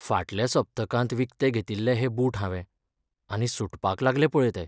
फाटल्या सप्तकांत विकते घेतिल्ले हे बूट हावें, आनी सुटपाक लागले पळय ते.